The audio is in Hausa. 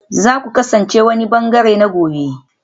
Za ku kasance wani ɓangare na gobe